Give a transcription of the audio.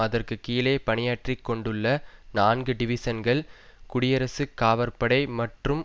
அதற்கு கீழே பணியாற்றி கொண்டுள்ள நான்கு டிவிசன்கள் குடியரசுக் காவற்படை மற்றும்